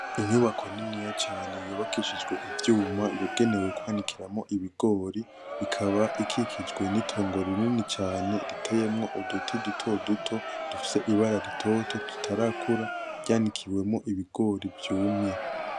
Inyubako niniya cane yubakishijwe ivyuma, Yagenewe kwanikiramwo ibigori. Ikaba ikikijwe n'itongo rinini cane riteyemwo uduti dutoduto dufise ibara ritoto, tutarakura, ryanikiwemwo ibigori vyumye.